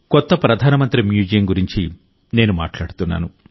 కొత్త ప్రధానమంత్రి మ్యూజియం గురించి నేను మాట్లాడుతున్నాను